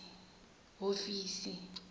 hofisi